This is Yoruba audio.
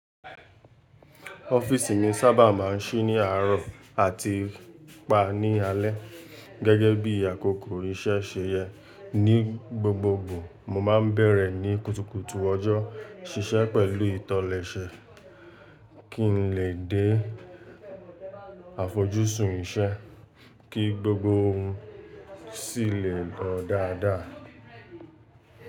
Ọ́fíísì mi sábà máa ń ṣí ní àárọ̀ àti pa ní alé, gẹ́gẹ́ bí àkókò ìṣe ṣe yẹ. Ní gbogbogbò, mo máa ń bẹ̀rẹ̀ ní kùtùkùtù ọjọ́, ṣiṣẹ́ pẹ̀lú ìtọ́lẹ́sẹ, kí n lè dé àfojúsùn iṣẹ́ kí gbogbo ohun sì lè lọ dáadáa.